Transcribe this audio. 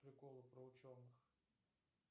приколы про ученых